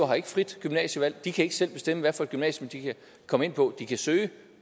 har ikke frit gymnasievalg de kan ikke selv bestemme hvad for et gymnasium de kan komme ind på de kan søge